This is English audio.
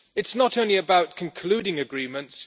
It is not only about concluding agreements